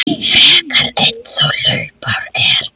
frekar einn þá hlaupár er.